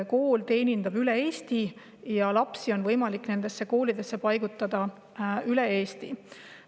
Kool teenindab tervet Eestit ja lapsi on võimalik nendesse koolidesse paigutada üle Eesti.